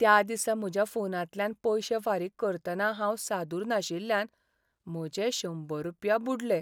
त्या दिसा म्हज्या फोनांतल्यान पयशें फारीक करतना हांव सादूर नाशिल्ल्यान म्हजे शंबर रुपया बुडलें.